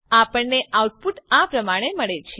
આપણને આઉટપુટ આ પ્રમાણે મળે છે